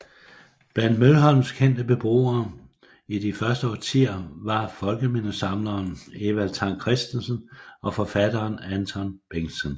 Blandt Mølholms kendte beboere i de første årtier var folkemindesamleren Evald Tang Kristensen og forfatteren Anton Berntsen